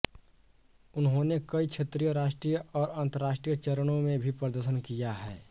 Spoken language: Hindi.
उन्होंने कई क्षेत्रीय राष्ट्रीय और अंतर्राष्ट्रीय चरणों में भी प्रदर्शन किया है